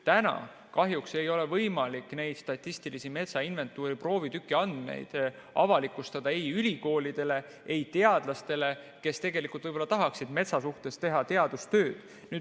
Täna kahjuks ei ole võimalik neid statistilise metsainventuuri proovitüki andmeid avalikustada ei ülikoolidele ega teadlastele, kes tahaksid metsa teemal teha teadustööd.